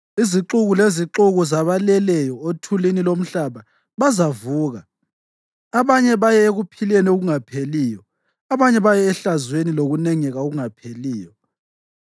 Izixuku lezixuku zabaleleyo othulini lomhlaba bazavuka; abanye baye ekuphileni okungapheliyo, abanye baye ehlazweni lokunengeka okungapheliyo.